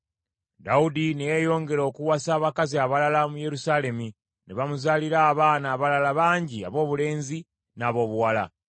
Dawudi ne yeeyongera okuwasa abakazi abalala mu Yerusaalemi, ne bamuzaalira abaana abalala bangi aboobulenzi n’aboobuwala.